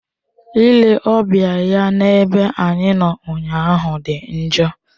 Ile ọbịa ya n'ebe anyị nọ ụnyaahụ dị njọ.